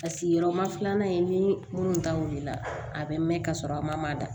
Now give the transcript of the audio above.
Paseke yɔrɔ ma filanan in ni minnu ta wulila a bɛ mɛn ka sɔrɔ a ma da